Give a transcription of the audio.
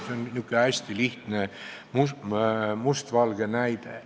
See on niisugune hästi lihtne mustvalge näide.